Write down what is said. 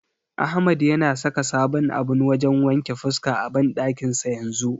Ahmad yana saka sabon abun wajen wanke fuska a banɗakin sa yanzu.